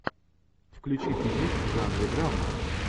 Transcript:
включи фильмик в жанре драма